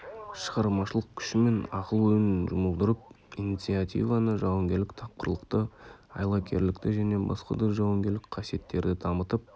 шығармашылық күші мен ақыл-ойын жұмылдырып инициативаны жауынгерлік тапқырлықты айлакерлікті және басқа да жауынгерлік қасиеттерді дамытып